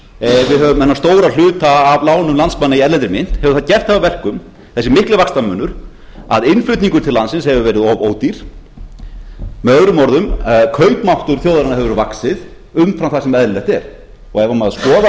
höfum þennan stóra hluta af lánum landsmanna í erlendri mynt hefur það gert það að verkum þessi mikli vaxtamunur að innflutningur til landsins hefur verið of ódýr möo kaupmáttur þjóðarinnar hefur vaxið umfram það sem eðlilegt er ef